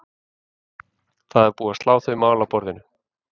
Það er búið slá þau mál af borðinu.